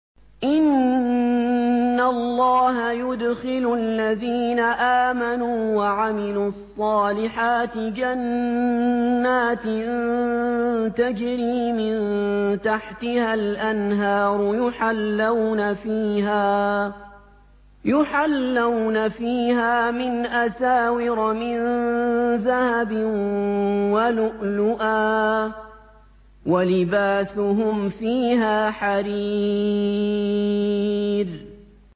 إِنَّ اللَّهَ يُدْخِلُ الَّذِينَ آمَنُوا وَعَمِلُوا الصَّالِحَاتِ جَنَّاتٍ تَجْرِي مِن تَحْتِهَا الْأَنْهَارُ يُحَلَّوْنَ فِيهَا مِنْ أَسَاوِرَ مِن ذَهَبٍ وَلُؤْلُؤًا ۖ وَلِبَاسُهُمْ فِيهَا حَرِيرٌ